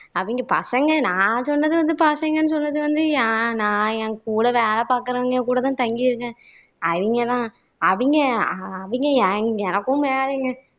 அவிங்க பசங்க நான் சொன்னது வந்து பசங்கன்னு சொன்னது வந்து என் நான் என் கூட வேலை பாக்குறவங்க கூட தான் தங்கியிருக்கேன் அவிங்க தான் அவிங்க அ அவிங்க எ எனக்கும் மேலங்க